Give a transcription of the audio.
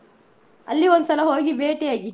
ಅಲ್ಲಿ ಒಂದ್ಸಲ ಹೋಗಿ ಬೇಟಿಯಾಗಿ.